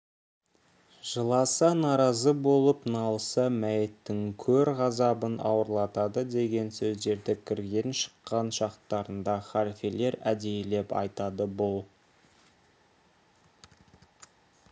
жыласа наразы болып налыса мәйіттің көр ғазабын ауырлатады деген сөздерді кірген-шыққан шақтарында халфелер әдейілеп айтады бұл